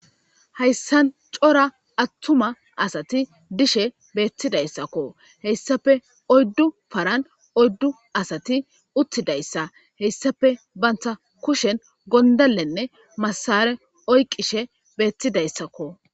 Hayssan cora attuma asati dishe beettidayssakko heyssafe oyddu paran oyddu asati uttidayssa heyssafe bantha kushen gondalenne masare oyqishe beettidayssakko.